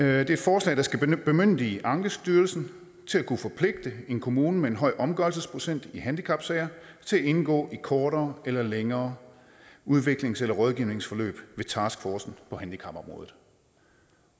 er et forslag der skal bemyndige ankestyrelsen til at kunne forpligte en kommune med en høj omgørelsesprocent i handicapsager til at indgå i kortere eller længere udviklings eller rådgivningsforløb ved taskforcen på handicapområdet